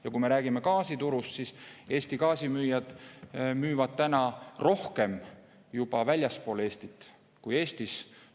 Ja kui me räägime gaasiturust, siis Eesti gaasimüüjad müüvad täna rohkem juba väljaspool Eestit kui Eestis.